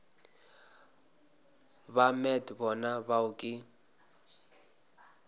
ba met bona bao ke